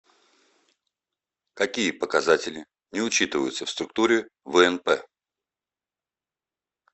какие показатели не учитываются в структуре внп